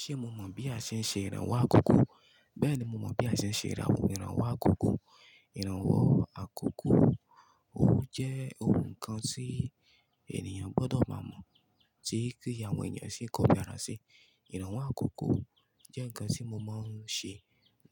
Ṣé mo mọ̀ bí a ṣe ń ṣe ìrànwọ́ àkókò? Bẹ́ẹ̀ni, mo mọ̀ bí a ṣe ń ṣe ìrànwọ́ ìrànwọ́ àkókò. Ìrànwọ́ àkókò, ó jẹ́ ohun kan tí ènìyàn gbọ́dọ̀ máa mọ̀, tí kí àwọn ènìyàn sì kọ́ni ara sí. Ìrànwọ́ àkókò jẹ́ nǹkan tí mo máa ń ṣe